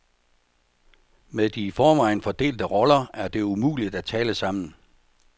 Med de i forvejen fordelte roller er det umuligt at tale sammen.